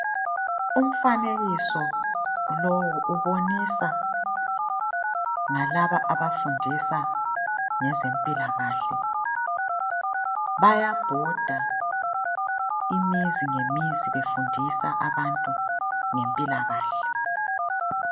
Umfanekiso lowu ubonisa ngalaba abafundisa ngezempilakahle bayabhoda imizi ngemizi befundisa abantu ngempilakahle.